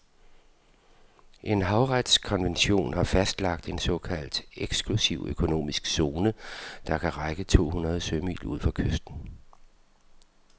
En havretskonvention har fastlagt en såkaldt eksklusiv økonomisk zone, der kan række to hundrede sømil ud fra kysten.